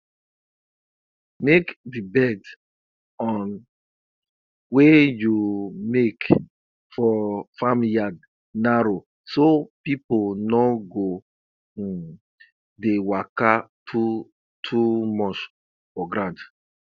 make di bed um wey you make for farm yard narrow so people no go um dey waka too too much for ground